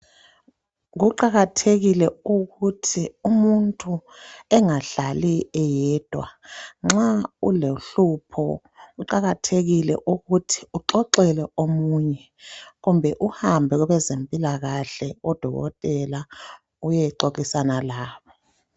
Kuqakathekile ukuthi umuntu engahlali eyedwa nxa ulohlupho kuqakathekile ukuthi uxoxele omunye ,kumbe uhambe kwezempilakahle kubodokotela uyexoxisana labo.